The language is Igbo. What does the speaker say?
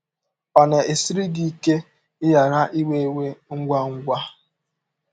Ọ̀ na - esiri gị ike ịghara ‘ iwe iwe ngwa ngwa ’?